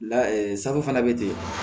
La sago fana be ten